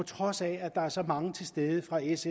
trods af at der er så mange til stede fra s